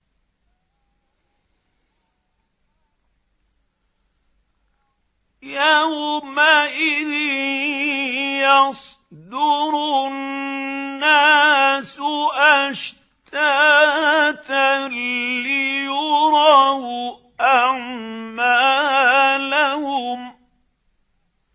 يَوْمَئِذٍ يَصْدُرُ النَّاسُ أَشْتَاتًا لِّيُرَوْا أَعْمَالَهُمْ